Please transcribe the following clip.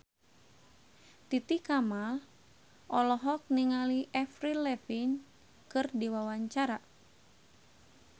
Titi Kamal olohok ningali Avril Lavigne keur diwawancara